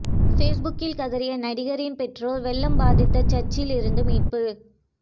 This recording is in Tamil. ஃபேஸ்புக்கில் கதறிய நடிகரின் பெற்றோர் வெள்ளம் பாதித்த சர்ச்சில் இருந்து மீட்பு